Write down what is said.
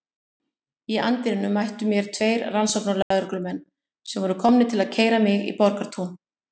Í anddyrinu mættu mér tveir rannsóknarlögreglumenn sem voru komnir til að keyra mig í Borgartún.